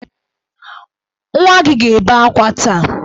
Nwa gị ga-ebe akwa taa!